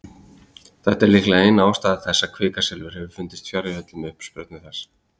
Þetta er líklega ein ástæða þess að kvikasilfur hefur fundist fjarri öllum uppsprettum þess.